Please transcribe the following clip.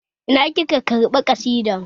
Ina kika karɓi ƙasida?